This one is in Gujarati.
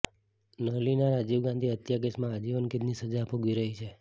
નલિની રાજીવ ગાંધી હત્યા કેસમાં આજીવન કેદની સજા ભોગવી રહી છે